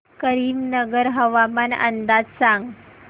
करीमनगर हवामान अंदाज सांग